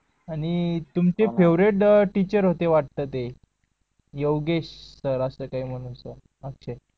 आणि तुमचे favourite teacher होते ते योगेश सर असं काही म्हणून